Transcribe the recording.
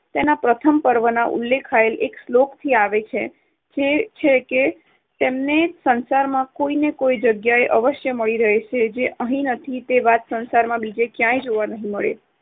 તેના પ્રથમ પર્વમાં ઉલ્લેખાયેલ એક શ્લોકથી આવે છે. તે છે કે તમને સંસારમાં કોઈને કોઈ જગ્યાએ અવશ્ય મળી રહે છે, જે અહીં નથી તે વાત સંસારમાં બીજે ક્યાંય જોવા નહી મળે.